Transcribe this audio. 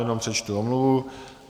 Jenom přečtu omluvu.